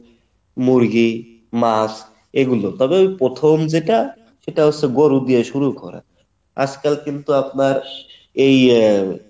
মুরগি মাছ এগুলো তবে এই প্রথম যেটা সেটা হচ্ছে গরু দিয়ে শুরু করা আজকাল কিন্তু আপনার এই আহ